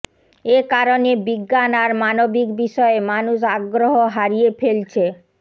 এ কারণে বিজ্ঞান আর মানবিক বিষয়ে মানুষ আগ্রহ হারিয়ে ফেলছে